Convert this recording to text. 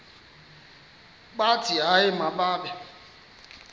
bathi hayi mababe